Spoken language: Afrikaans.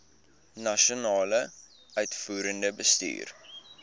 nasionale uitvoerende bestuur